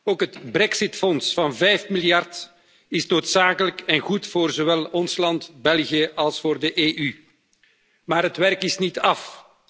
Ook het brexitfonds van 5 miljard euro is noodzakelijk en goed voor zowel ons land België als voor de EU. Maar het werk is niet af.